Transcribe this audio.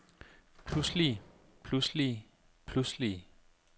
pludselige pludselige pludselige